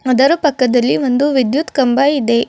ಅದರ ಪಕ್ಕದಲ್ಲಿ ಒಂದು ವಿದ್ಯುತ್ ಕಂಬ ಇದೆ.